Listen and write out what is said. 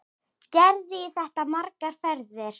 Gerði í þetta margar ferðir.